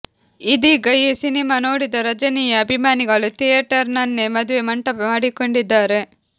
ಇದೀಗ ಈ ಸಿನಿಮಾ ನೋಡಿದ ರಜಿನಿಯ ಅಭಿಮಾನಿಗಳು ಥಿಯೇಟರ್ ನನ್ನೇ ಮದುವೆ ಮಂಟಪ ಮಾಡಿಕೊಂಡಿದ್ದಾರೆ